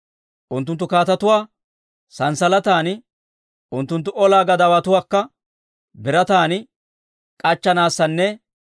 Unttunttu kaatetuwaa sanssalatan, unttunttu olaa gadaawatuwaakka birataan k'achchanaassanne,